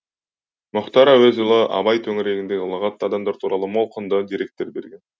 мұхтар әуезұлы абай төңірегіндегі ұлағатты адамдар туралы мол құнды деректер берген